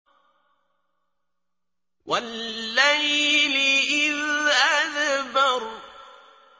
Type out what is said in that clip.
وَاللَّيْلِ إِذْ أَدْبَرَ